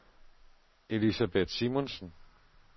Elisabeth Simonsen